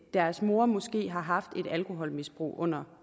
deres mor måske har haft et alkoholmisbrug under